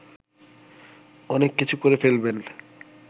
অনেক কিছু করে ফেলবেন